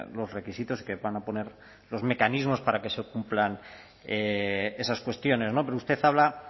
los requisitos que van a poner los mecanismos para que se cumplan esas cuestiones pero usted habla